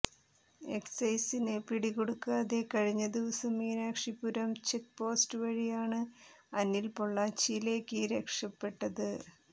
എക്സൈസിന് പിടികൊടുക്കാതെ കഴിഞ്ഞ ദിവസം മീനാക്ഷിപുരം ചെക്പോസ്റ്റ് വഴിയാണ് അനിൽ പൊളളാച്ചിയിലേക്ക് രക്ഷപെട്ടത്